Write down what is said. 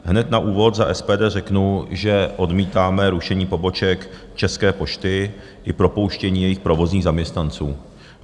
Hned na úvod za SPD řeknu, že odmítáme rušení poboček České pošty i propouštění jejich provozních zaměstnanců.